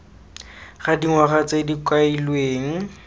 ga dingwaga tse di kailweng